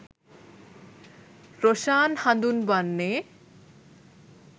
රොෂාන් හඳුන්වන්නේ.